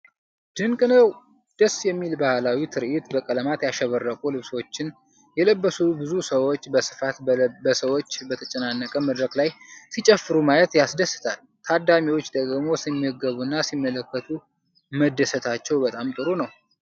ድንቅ ነው! ደስ የሚል ባህላዊ ትርኢት! በቀለማት ያሸበረቁ ልብሶችን የለበሱ ብዙ ሰዎች በስፋት በሰዎች በተጨናነቀ መድረክ ላይ ሲጨፍሩ ማየት ያስደስታል። ታዳሚዎች ደግሞ ሲመገቡና ሲመለከቱ መደሰታቸው በጣም ጥሩ ነው።